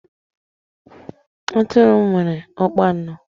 Atụrụ nwere ọkpa anọ